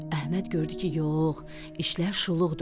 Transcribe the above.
Əhməd gördü ki, yox, işlər şuluqdu.